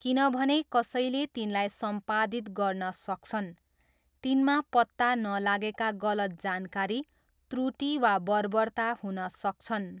किनभने कसैले तिनलाई सम्पादित गर्न सक्छन्, तिनमा पत्ता नलागेका गलत जानकारी, त्रुटि वा बर्बरता हुन सक्छन्।